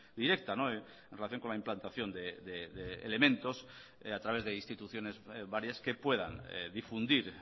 directa en relación con la implantación de elementos a través de instituciones varias que puedan difundir